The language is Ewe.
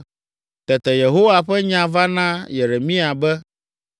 Tete Yehowa ƒe nya va na Yeremia be,